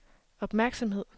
opmærksomhed